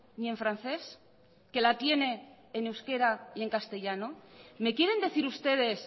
ni en francés que la tiene en euskera y en castellano me quieren decir ustedes